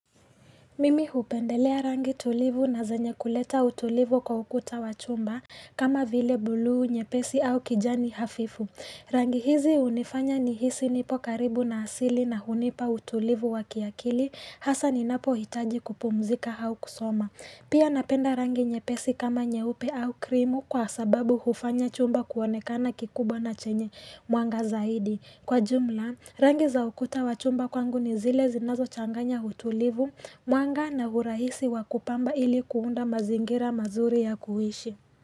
Mimi hupendelea rangi tulivu na zenye kuleta utulivu kwa ukuta wa chumba kama vile buluu nyepesi au kijani hafifu. Rangi hizi hunifanya nihisi nipo karibu na asili na hunipa utulivu wa kiakili hasa ninapo hitaji kupumzika au kusoma. Pia napenda rangi nyepesi kama nyeupe au krimu kwa sababu hufanya chumba kuonekana kikubwa na chenye mwanga zaidi. Kwa jumla, rangi za ukuta wa chumba kwangu ni zile zinazo changanya utulivu, mwanga na urahisi wa kupamba ili kuunda mazingira mazuri ya kuishi.